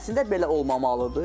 Əslində belə olmamalıdır.